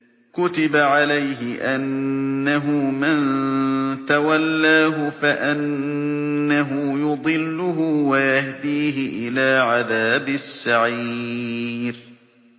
كُتِبَ عَلَيْهِ أَنَّهُ مَن تَوَلَّاهُ فَأَنَّهُ يُضِلُّهُ وَيَهْدِيهِ إِلَىٰ عَذَابِ السَّعِيرِ